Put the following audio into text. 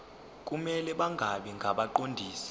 kumele bangabi ngabaqondisi